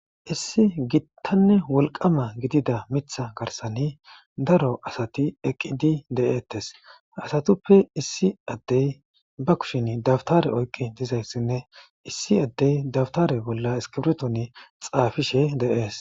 issi gittanne wolqama gidida mitha garsani daro asati eqqidi de7ettes asatuppe issi addey ba kusheni dabtare oyqqi dizayssinne issi addey dabtare bolla eskibritoni xaafishe de7ees